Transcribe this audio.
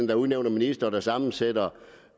der udnævner ministre og sammensætter